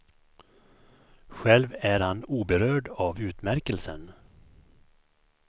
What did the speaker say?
Själv är han oberörd av utmärkelsen.